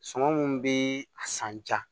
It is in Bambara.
Sɔngɔ mun be a san ja